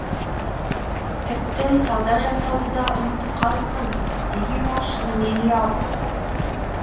тіпті сауда жасауды да ұмытып қалыппын деген ол шынымен ұялып